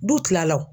Du tilala wo